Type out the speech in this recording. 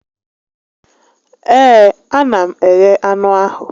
Ee, a na m eghe anụ ahụ